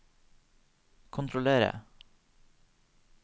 kontrollere